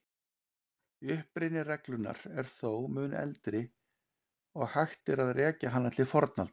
Uppruni reglunnar er þó mun eldri og hægt er að rekja hana til fornaldar.